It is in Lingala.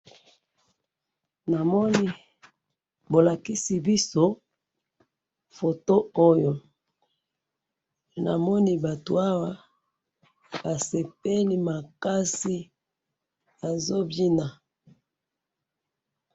Namoni bolakisi biso photo oyo ,namoni batu awa basepeli makasi, bazo bina